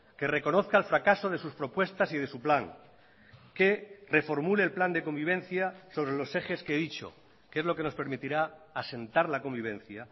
que reconozca el fracaso de sus propuestas y de su plan que reformule el plan de convivencia sobre los ejes que he dicho que es lo que nos permitirá asentar la convivencia